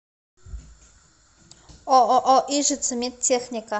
ооо ижица медтехника